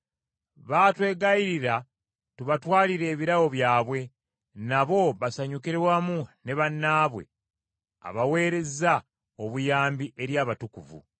Baatwegayirira tubatwalire ebirabo byabwe, nabo basanyukire wamu ne bannaabwe abaweerezza obuyambi eri abatukuvu.